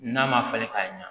N'a ma falen k'a ɲɛ